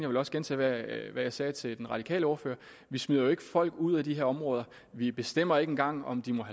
vil også gentage hvad jeg sagde til den radikale ordfører vi smider jo ikke folk ud af de her områder vi bestemmer ikke engang om de må